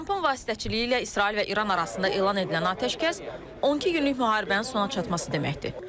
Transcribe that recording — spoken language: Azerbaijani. Trampın vasitəçiliyi ilə İsrail və İran arasında elan edilən atəşkəs 12 günlük müharibənin sona çatması deməkdir.